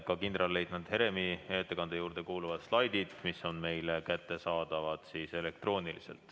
Ka kindralleitnant Heremi ettekande juurde kuuluvad slaidid, mis on meile kättesaadavad elektrooniliselt.